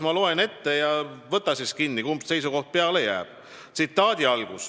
Ma loen nüüd ette paar tsitaati ja võta siis kinni, kumb seisukoht peale jääb.